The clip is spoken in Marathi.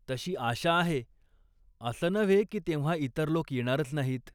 तशी आशा आहे. असं नव्हे की तेव्हा इतर लोक येणारच नाहीत.